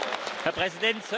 Herr Präsident!